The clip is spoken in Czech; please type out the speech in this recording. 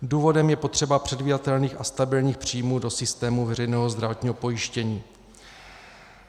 Důvodem je potřeba předvídatelných a stabilních příjmů do systému veřejného zdravotního pojištění.